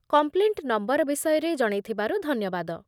Complaint number ବିଷୟରେ ଜଣେଇଥିବାରୁ ଧନ୍ୟବାଦ ।